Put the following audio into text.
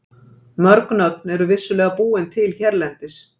Mörg nöfn eru vissulega búin til hérlendis.